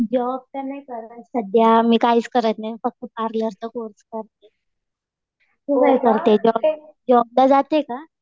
Job तर नाही करत सध्या. मी काहीच करत नाही. फक्त पार्लरचा कोर्स करतीये. तू काय करते? जॉबला जाते का?